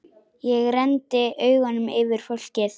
Ég renndi augunum yfir fólkið.